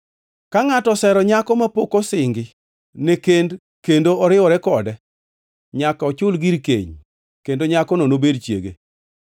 “Ka ngʼato osero nyako mapok osingi ne kend kendo oriwore kode nyaka ochul gir keny kendo nyakono nobed chiege.